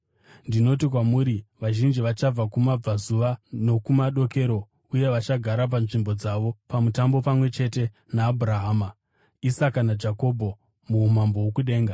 Ndinoti kwamuri, vazhinji vachabva kumabvazuva nokumadokero uye vachagara panzvimbo dzavo pamutambo pamwe chete naAbhurahama, Isaka naJakobho muumambo hwokudenga.